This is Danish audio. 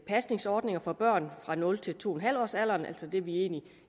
pasningsordninger for børn fra nul til to en halv årsalderen altså det vi egentlig